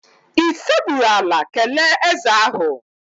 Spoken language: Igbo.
Ị sekpuru ala kelee ézè ahụ?